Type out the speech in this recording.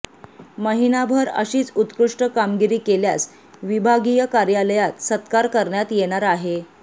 महिनाभर अशीच उत्कृष्ट कामगिरी केल्यास विभागीय कार्यालयात सत्कार करण्यात येणार आहे